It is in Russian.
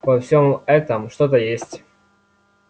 во всём этом что-то есть